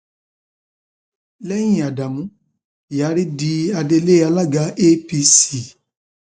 lẹyìn ádámù kyari di adelé alága apc